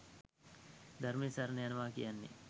ධර්මය සරණ යනවා කියන්නේ.